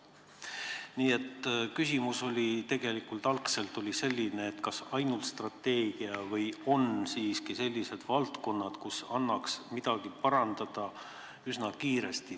Nii et minu küsimus oli tegelikult selline, kas tegeleda tuleb ainult strateegiaga või on siiski mõnes valdkonnas võimalik midagi parandada üsna kiiresti.